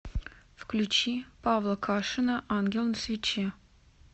включи павла кашина ангел на свече